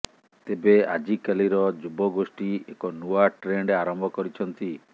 ତେବେ ଆଜିକାଲିର ଯୁବଗୋଷ୍ଠୀ ଏକ ନୂଆ ଟ୍ରେଣ୍ଡ ଆରମ୍ଭ କରିଛନ୍ତି